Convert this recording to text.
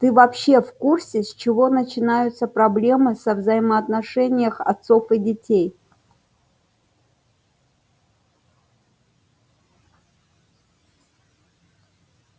ты вообще в курсе с чего начинаются проблемы со взаимоотношениях отцов и детей